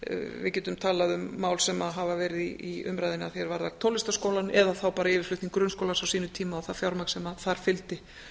við getum talað um mál sem hafa verið í umræðunni að því er varðar tónlistarskólann eða þá bara yfirflutning grunnskólans á sínum tíma og það fjármagn sem þar fylgdi